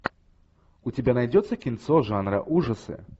у тебя найдется кинцо жанра ужасы